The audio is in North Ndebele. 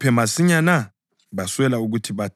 Baswela ukuthi bathini.